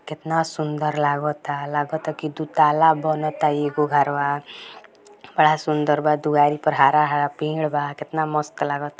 कितना सुंदर लागता लागता कि की दो तल्ला बनता एगो घरवा बड़ा सुंदर बा द्वारी पर हरा-हरा पेड़ बा कितना मस्त लागता |